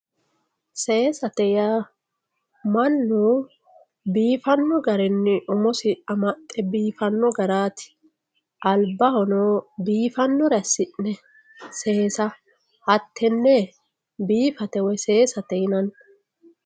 Seesate yaa mannu biifano garinni umosi amaxe biifano garati albahono biifanore assi'ne seessa hatene biifate woyi seessate yinanni.